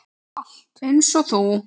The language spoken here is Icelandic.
Einsog þú.